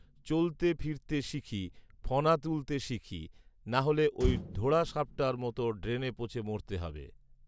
চলতে ফিরতে শিখি, ফণা তুলতে শিখি, নাহলে ঐ ঢোঢ়া সাপটার মত ড্রেনে পচে মরতে হবে